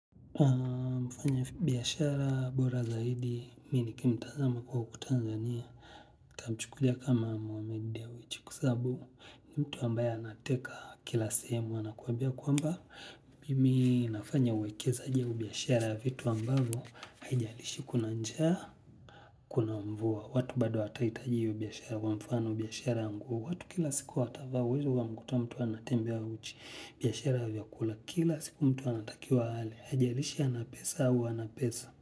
Mfanya biashara Bora Zaidi, mii nikimtazama kwa uku tanzania, utamuchukulia kama muwamedi ya uichikusabu, ni mtu ambaye anateka kila sehemu, anakuambia kuamba, mimi nafanya uwekezaji au biashara vitu ambavo, haijalishi kuna njaa, kuna mvua, watu bado hataitaji ubyashara, wamfano ubyashara angu, watu kila siku watavao, huizu wa mkutu wa mtu anatembe wa uchi, biyashara vya kula, kila siku mtu anatakiwa hali, hajarishi anapesa au anapesa.